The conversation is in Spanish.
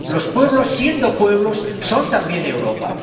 Los pueblos, siendo pueblos, son también Europa.